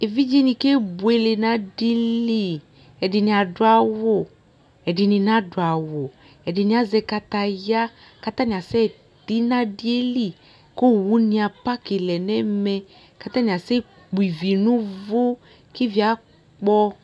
ɛvidzɛ nibkɛ bʋɛlɛ nʋ adili, ɛdini adʋbawʋ ɛdini nadʋ awʋ, ɛdini azɛ kataya kʋ atani asɛ ti nʋ adiɛli kʋ ɔwʋni aparki lɛnʋ ɛmɛ kʋ atani asɛ kpɔ ivi nʋ ʋvʋ kʋ iviɛ akpɔ